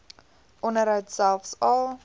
onderhoud selfs al